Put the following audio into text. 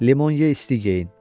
Limon ye, isti geyin.